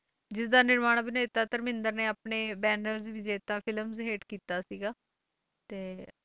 ਜਿਸਦਾ ਨਿਰਮਾਣ ਅਭਿਨੇਤਾ ਧਰਮਿੰਦਰ ਨੇ ਆਪਣੇ film ਹੇਠ ਕੀਤਾ ਸੀਗਾ, ਤੇ